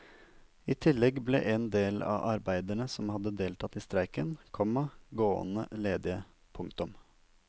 I tillegg ble en del av arbeiderne som hadde deltatt i streiken, komma gående ledige. punktum